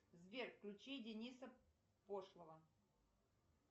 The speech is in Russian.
сбер включи дениса пошлого